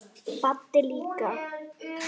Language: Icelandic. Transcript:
Baddi líka.